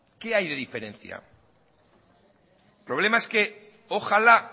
qué hay de diferencia el problema es que ojalá